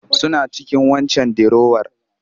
Suna cikin waccan dirowar